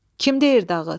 Kim deyir dağıt?